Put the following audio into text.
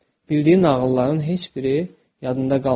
Bildiyi nağılların heç biri yadında qalmamışdı.